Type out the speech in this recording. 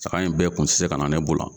Saga in bɛɛ kun te se ka na ne bolo